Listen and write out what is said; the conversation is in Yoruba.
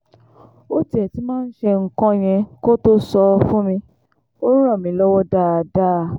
ó tiẹ̀ ti máa ń ṣe nǹkan yẹn kó tóo sọ fún mi ò ràn mí lọ́wọ́ dáadáa